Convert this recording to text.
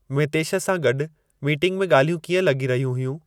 मितेश सां गॾु मीटिंग में ॻाल्हियूं कीअं लॻी रहियूं हुयूं